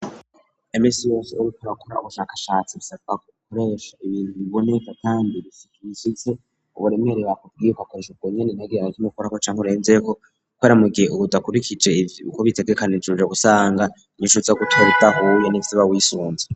Iminsi yose uriko urakora ubushakashatsi bisabwa gukoresha ibintu biboneka kandi bishitse uburemere bakubwiyeko akoresha uko nyene utagira na kimwe ukurako canke urenzeko kubera mugihe ubudakubikije ivyo bitegekanijwe usanga inyishu uza gutora idahuye nivyo uba wisunze.